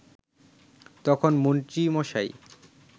তখন মন্ত্রীমশাই